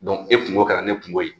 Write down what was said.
e kunko kɛra ne kunko ye